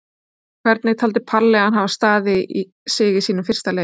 Hvernig taldi Palli hann hafa staðið sig í sínum fyrsta leik?